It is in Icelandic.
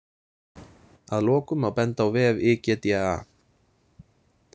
Að lokum má benda á vef IGDA.